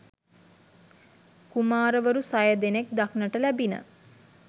කුමාරවරු සය දෙනෙක් දක්නට ලැබිණ.